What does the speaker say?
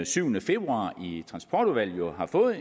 syvende februar i transportudvalget jo har fået